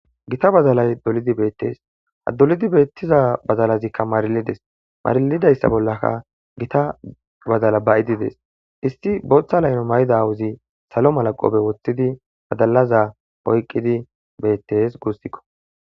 Gita bazalay dolidi beettees haddolidi beettiza badalazikka maarilides maarlidayssa bollaka gita badala ba'idides isti booththa layno mayda awuzi salo malaqobe woththidi badalaza poyqqidi beettes guussikko.